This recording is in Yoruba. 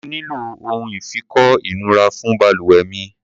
Mo nílò ohun ìfikọ́ ìnura fún balùwẹ̀ mi.